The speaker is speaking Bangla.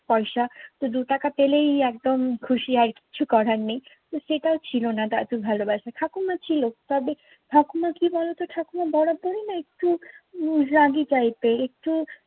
পয়সা তো দু’টাকা পেলেই একদম খুশি আর কিচ্ছু করার নেই। তো সেটাও ছিল না দাদুর ভালোবাসা। ঠাকুরমা ছিল। তবে ঠাকুর মা কি বলতো, ঠাকুরমা বরাবরই না একটু উম রাগি টাইপের, একটু